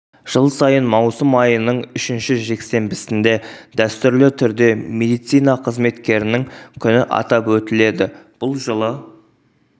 жыл сайын маусым айының үшінші жексенбісінде дәстүрлі түрде медицина қызметкерінің күні атап өтіледі жылы бұл